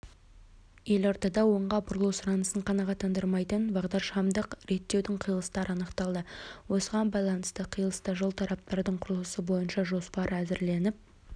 елордада оңға бұрылу сұранысын қанағаттандырмайтын бағдаршамдық реттеудіңқиылыстары анықталды осыған байланысты қиылыста жол тораптардың құрылысы бойынша жоспар әзірленді деп хабарлады астана